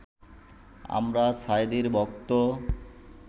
আমরা সাঈদীর ভক্ত